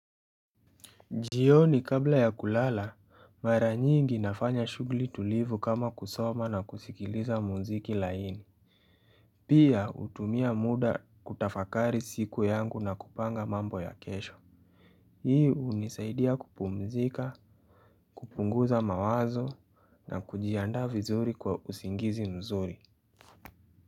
Jioni kabla ya kulala mara nyingi nafanya shugli tulivu kama kusoma na kusikiliza muziki laini. Pia hutumia muda kutafakari siku yangu na kupanga mambo ya kesho. Hii unisaidia kupumzika, kupunguza mawazo na kujiandaa vizuri kwa usingizi mzuri.